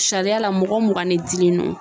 Sariya la mɔgɔ mugan ni dilen no .